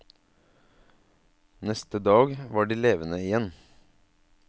Neste dag var de levende igjen.